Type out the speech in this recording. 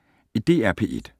DR P1